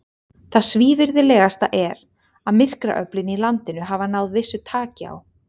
Það svívirðilegasta er, að myrkraöflin í landinu hafa náð vissu taki á.